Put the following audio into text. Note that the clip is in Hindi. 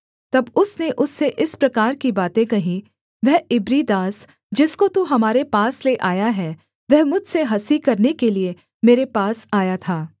तब उसने उससे इस प्रकार की बातें कहीं वह इब्री दास जिसको तू हमारे पास ले आया है वह मुझसे हँसी करने के लिये मेरे पास आया था